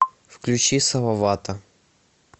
включи салавата